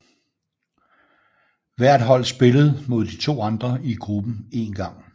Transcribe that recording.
Hvert hold spillede mod de to andre i gruppen en gang